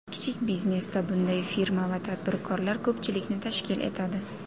Kichik biznesda bunday firma va tadbirkorlar ko‘pchilikni tashkil etadi.